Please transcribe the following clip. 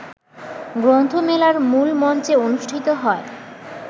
গ্রন্থমেলার মূলমঞ্চে অনুষ্ঠিত হয়